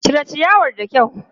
Cire ciyawar da kyau!